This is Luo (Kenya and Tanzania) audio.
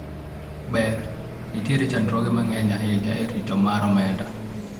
ber ,nitiere chandruoge mang'eny ahinya e rito mar omenda